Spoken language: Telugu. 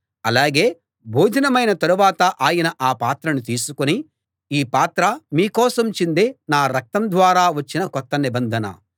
అలాగే భోజనమైన తరువాత ఆయన ఆ పాత్రను తీసుకుని ఈ పాత్ర మీ కోసం చిందే నా రక్తం ద్వారా వచ్చిన కొత్త నిబంధన